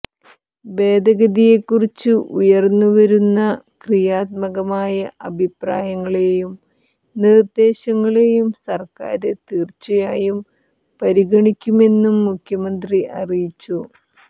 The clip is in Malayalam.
ഭേദഗതിയെക്കുറിച്ച് ഉയര്ന്നു വരുന്ന ക്രിയാത്മകമായ അഭിപ്രായങ്ങളെയും നിര്ദേശങ്ങളെയും സര്ക്കാര് തീര്ച്ചയായും പരിഗണിക്കുമെന്നും മുഖ്യമന്ത്രി അറിയിച്ചു